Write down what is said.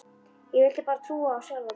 Ég vildi bara trúa á sjálfa mig.